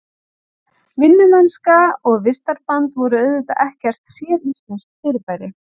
Vinnumennska og vistarband voru auðvitað ekkert séríslenskt fyrirbæri.